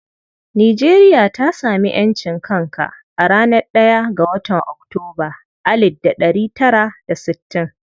Nijeriya ta sami ƴancin kanka a ranar ɗaya ga watan Oktoba alid da ɗari tara da sittin.